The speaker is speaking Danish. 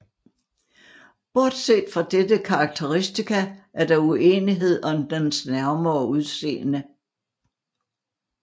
Bortset fra dette karakteristika er der uenighed om dens nærmere udseende